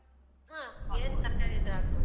ಹ, ಏನ್ ತರ್ಕಾರಿ ಇದ್ರು ಹಾಕ್ಬೋದು.